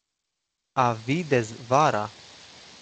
A videz vara!